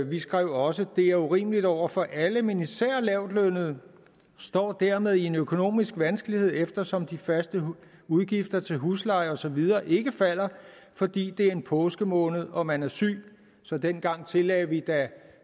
vi skrev også dette er urimeligt over for alle men især lavtlønnede står dermed med en økonomisk vanskelighed eftersom de faste udgifter til husleje og så videre ikke falder fordi det er en påskemåned og man er syg så dengang tillagde vi da